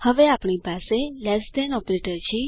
હવે આપણી પાસે લેસ ધેન ઓપરેટર છે